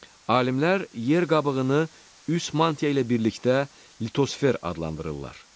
Alimlər yer qabığını üst mantia ilə birlikdə litosfer adlandırırlar.